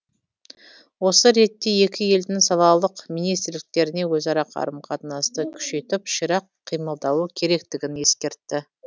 осы ретте екі елдің салалық министрліктеріне өзара қарым қатынасты күшейтіп ширақ қимылдауы керектігін ескертті